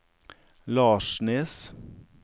Larsnes